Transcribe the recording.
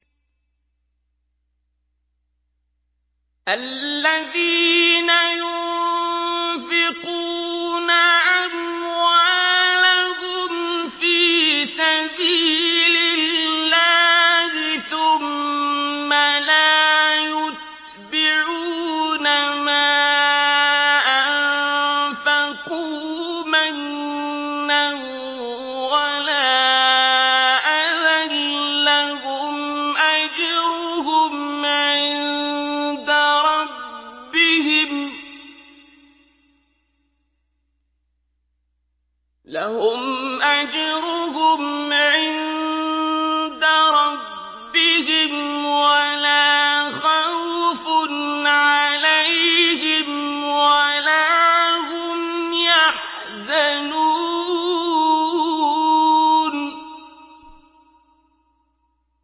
الَّذِينَ يُنفِقُونَ أَمْوَالَهُمْ فِي سَبِيلِ اللَّهِ ثُمَّ لَا يُتْبِعُونَ مَا أَنفَقُوا مَنًّا وَلَا أَذًى ۙ لَّهُمْ أَجْرُهُمْ عِندَ رَبِّهِمْ وَلَا خَوْفٌ عَلَيْهِمْ وَلَا هُمْ يَحْزَنُونَ